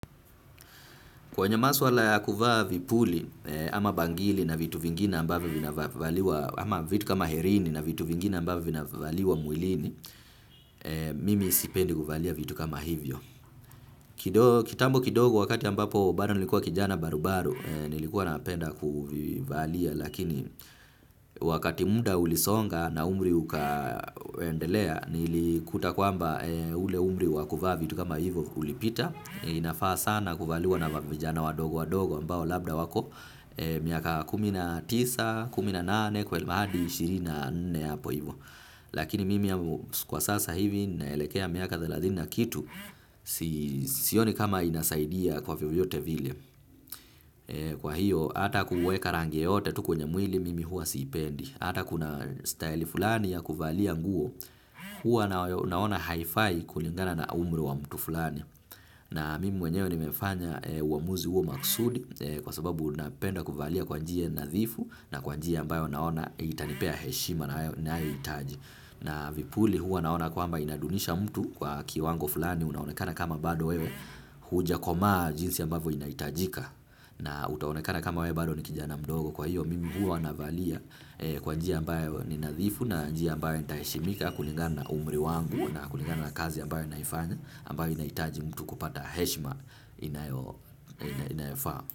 Kwenye maswala ya kuvaa vipuli ama bangili na vitu vingine ambavyo vina valiwa, ama vitu kama herini na vitu vingine ambavyo vina valiwa mwilini, mimi isipendi kuvaalia vitu kama hivyo. Kitambo kidogo wakati ambapo bado nilikuwa kijana barubaru nilikuwa napenda kuvaalia lakini wakati muda ulisonga na umri ukaendelea nilikuta kwamba ule umri wakuvaa vitu kama hivyo ulipita. Inafaa sana kuvaliwa na vijana wadogo wadogo ambao labda wako miaka kumi na tisa, kumi na nane, ishirini na nne. Lakini mimi kwa sasa hivi naelekea miaka thelathini na kitu. Siyoni kama inasaidia kwa vyovyote vile. Kwa hiyo ata kuweka rangi yoyote tu kwenye mwili mimi hua siipendi. Ata kuna staili fulani ya kuvalia nguo. Hua naona haifai kulingana na umri wa mtu fulani. Na mimi mwenyewe ni mefanya uamuzi uo maksudi kwa sababu napenda kuvalia kwa njia nadhifu na kwa njia ambayo naona itanipea heshima nayo itaji. Na vipuli huwa naona kwamba inadunisha mtu kwa kiwango fulani unaonekana kama bado wewe hujakomaa jinsi ambayo inaitajika. Na utaonekana kama wewe bado ni kijana mdogo kwa hiyo mimi huwa navalia kwa njia ambayo ni nadhifu na njia ambayo ni taheshimika kulingana umri wangu na kulingana kazi ambayo naifanya ambayo inaitaji mtu kupata heshma inayofaa.